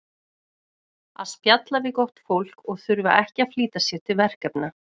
Að spjalla við gott fólk og þurfa ekki að flýta sér til verkefna.